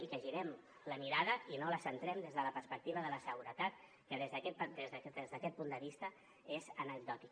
i que girem la mirada i no la centrem des de la perspectiva de la seguretat que des d’aquest punt de vista és anecdòtic